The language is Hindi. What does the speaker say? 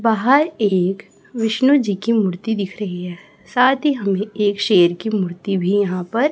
बाहर एक विष्णु जी की मूर्ति दिख रही है साथ ही हमें एक शेर की मूर्ति भी यहां पर--